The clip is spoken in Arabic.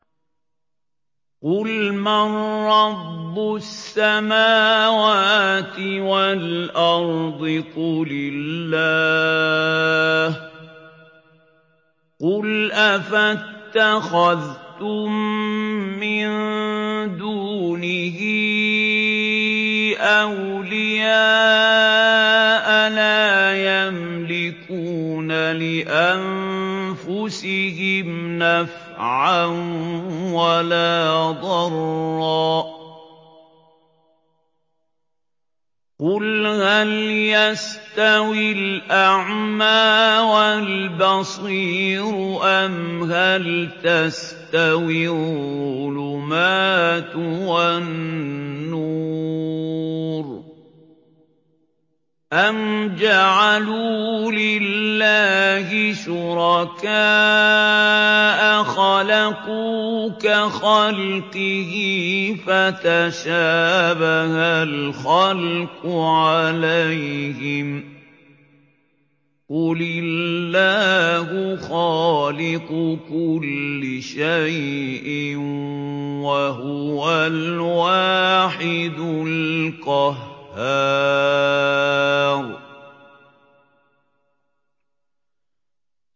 قُلْ مَن رَّبُّ السَّمَاوَاتِ وَالْأَرْضِ قُلِ اللَّهُ ۚ قُلْ أَفَاتَّخَذْتُم مِّن دُونِهِ أَوْلِيَاءَ لَا يَمْلِكُونَ لِأَنفُسِهِمْ نَفْعًا وَلَا ضَرًّا ۚ قُلْ هَلْ يَسْتَوِي الْأَعْمَىٰ وَالْبَصِيرُ أَمْ هَلْ تَسْتَوِي الظُّلُمَاتُ وَالنُّورُ ۗ أَمْ جَعَلُوا لِلَّهِ شُرَكَاءَ خَلَقُوا كَخَلْقِهِ فَتَشَابَهَ الْخَلْقُ عَلَيْهِمْ ۚ قُلِ اللَّهُ خَالِقُ كُلِّ شَيْءٍ وَهُوَ الْوَاحِدُ الْقَهَّارُ